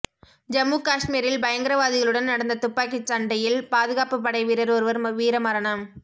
ஜம்மு காஷ்மீரில் பயங்கரவாதிகளுடன் நடந்த துப்பாக்கிச் சண்டையில் பாதுகாப்பு படை வீரர் ஒருவர் வீர மரணம்